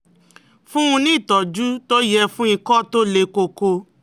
Fún un ní ìtọ́jú tó yẹ fún ikọ̀ tó le koko